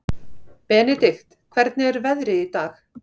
Benidikt, hvernig er veðrið í dag?